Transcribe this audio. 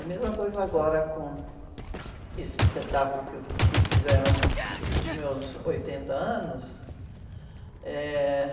A mesma coisa agora com esse espetáculo que eu, que fizeram para os meus oitenta anos. Eh..